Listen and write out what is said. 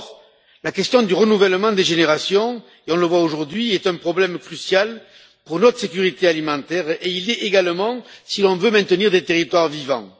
Or, la question du renouvellement des générations on le voit aujourd'hui est un problème crucial pour notre sécurité alimentaire et il l'est également si l'on veut maintenir des territoires vivants.